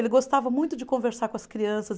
Ele gostava muito de conversar com as crianças.